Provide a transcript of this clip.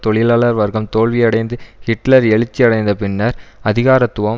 தொழிலாளர் வர்க்கம் தோல்வியடைந்து ஹிட்லர் எழுச்சி அடைந்தபின்னர் அதிகாரத்துவம்